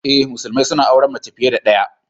Eh, musulmai suna auren mace fiye da ɗaya.